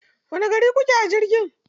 Wani gari kuka je a jirgi?